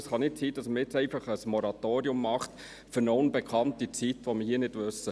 Es kann nicht sein, dass man jetzt einfach ein Moratorium für eine unbekannte Zeit macht, die wir hier nicht kennen.